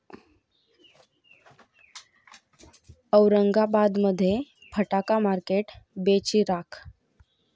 औरंगाबादमध्ये फटाका मार्केट बेचिराख